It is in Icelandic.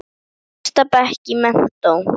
Í fyrsta bekk í menntó.